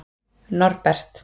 Norbert